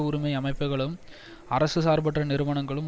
உரிமை அமைப்புக்களும் அரசு சார்பற்ற நிறுவனங்களும்